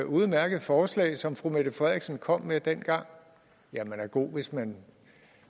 udmærkede forslag som fru mette frederiksen kom med dengang man er god hvis man